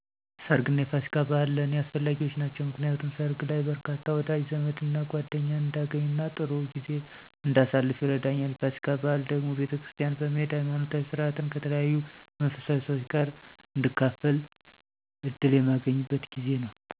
ሰርግ እና የፋሲካ በኣል ለኔ አስፈላጊዎች ናቸው። ምክንያቱም ሰርግ ላይ በርካታ ወዳጅ ዘመድና ጓደኛን እንዳገኝና ጥሩ ጊዜ እንዳሳልፍ ይረዳኛል። የፋሲካ በዓል ደግሞ ቤተክርስቲያን በመሄድ ሀይማኖታዊ ስርዓትን ከተለያዩ መንፈሳዊ ሰዎች ጋር እንድካፈል እድል የማገኝበት ጊዜ ነው።